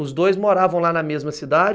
Os dois moravam lá na mesma cidade?